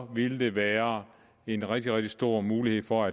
ville det være en rigtig rigtig stor mulighed for